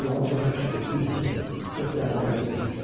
Allaha çox şükür ki, düz üzür, çox dərinə getmir".